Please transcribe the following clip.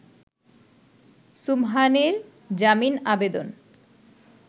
সুবহানের জামিন আবেদন